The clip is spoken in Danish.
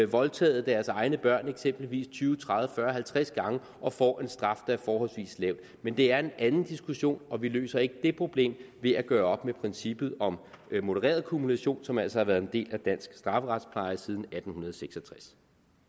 voldtaget deres egne børn tyve tredive fyrre halvtreds gange og får en straf der er forholdsvis lav men det er en anden diskussion og vi løser ikke det problem ved at gøre op med princippet om modereret kumulation som altså har været en del af dansk strafferetspleje siden atten seks og tres